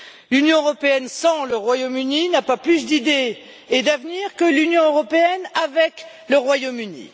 L'Union européenne sans le Royaume Uni n'a pas plus d'idées et d'avenir que l'Union européenne avec le Royaume Uni.